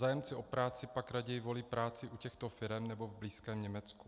Zájemci o práci pak raději volí práci u těchto firem nebo v blízkém Německu.